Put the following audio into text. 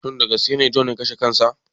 Shin dagaskene john ya kashe kansa.